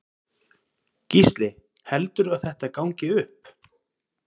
Gísli: Heldurðu að þetta gangi upp?